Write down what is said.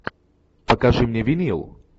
покажи мне винил